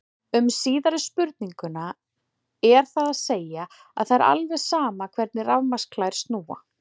Um síðari spurninguna er það að segja að það er alveg sama hvernig rafmagnsklær snúa.